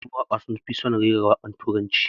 Yawancin mawaka sun fi son rera wakokin turanci